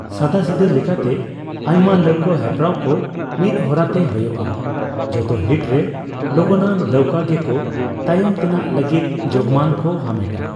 ᱥᱟᱫᱟᱥᱤᱫᱟᱹ ᱞᱮᱠᱟᱛᱮ, ᱟᱭᱢᱟ ᱞᱟᱹᱣᱠᱟᱹ ᱦᱮᱯᱨᱟᱣ ᱠᱚ ᱢᱤᱫ ᱦᱚᱨᱟᱛᱮ ᱦᱳᱭᱳᱜᱼᱟ, ᱡᱚᱛᱚ ᱦᱤᱴᱨᱮ ᱞᱚᱜᱚᱱᱟᱱ ᱞᱟᱹᱣᱠᱟᱹ ᱜᱮ ᱠᱚᱛᱟᱭᱚᱢ ᱛᱮᱱᱟᱜ ᱞᱟᱹᱜᱤᱫ ᱡᱳᱜᱢᱟᱱ ᱠᱚ ᱦᱟᱢᱮᱴᱟ ᱾